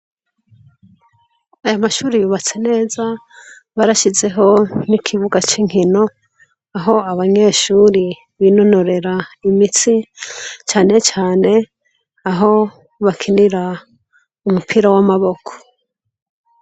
Aya mashuri yubatse neza barashizeho n'ikibuga c'inkino aho abanyeshuri binonorera imitsi cane cane aho bakinira umupira w'amaboko.